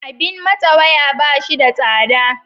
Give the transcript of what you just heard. Abin matse waya, ba shi da tsada.